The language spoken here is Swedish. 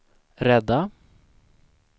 rädda